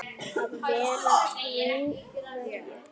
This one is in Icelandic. Að vera trú hverju?